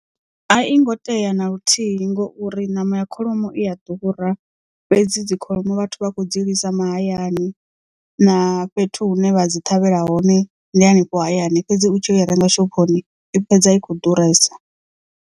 A i ngo tea na luthihi ngauri ṋama ya kholomo i a ḓura fhedzi dzi kholomo vhathu vha kho dzi lisa mahayani na fhethu hune vha dzi ṱhavhela hone ndi hanefho hayani fhedzi u tshi ya u i renga shophoni i fhedza i kho ḓuresa.